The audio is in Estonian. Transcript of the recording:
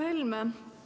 Härra Helme!